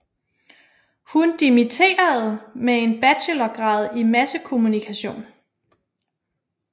Hun dimitterede med en bachelorgrad i massekommunikation